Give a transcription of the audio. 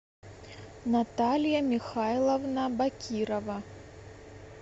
наталья михайловна бакирова